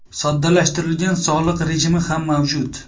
Soddalashtirilgan soliq rejimi ham mavjud.